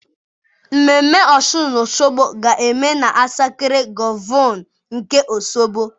Ememme Ọshụn Oshogbo ga-eme na Asakred Grovu nke Osogbo